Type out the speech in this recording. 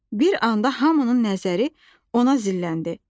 Bir anda hamının nəzəri ona zilləndi.